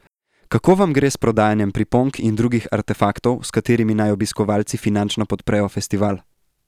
Kako vam gre s prodajanjem priponk in drugih artefaktov, s katerimi naj obiskovalci finančno podprejo festival?